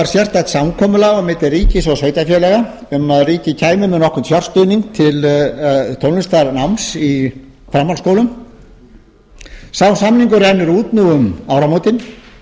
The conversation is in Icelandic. sérstakt samkomulag á milli ríkis og sveitarfélaga um að ríkið kæmi með nokkurn fjárstuðning til tónlistarnáms í framhaldsskólum sá samningur rennur út nú um áramótin